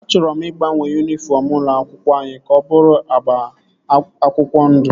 A chọrọ ịgbanwe yunifọm ụlọ akwụkwọ anyị ka ọ bụrụ agba akwụkwọ ndụ